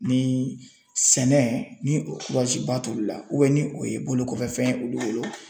Ni sɛnɛ ni o ba t'olu la ni o ye bolokɔfɛfɛn ye olu bolo.